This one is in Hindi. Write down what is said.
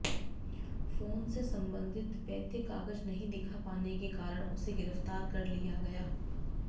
फोन से संबंधित वैध कागज नहीं दिखा पाने के कारण उसे गिरफ्तार कर लिया गया